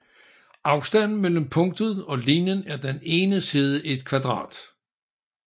Afstanden mellem punktet og linjen er den ene side i et kvadrat